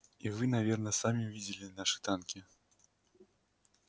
и вы наверно сами видели наши танки